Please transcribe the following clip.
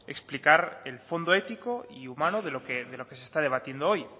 explicar el fondo ético y humano de lo que se está debatiendo hoy